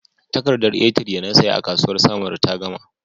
Takardar A3 da na saya a kasuwar samaru ta gama.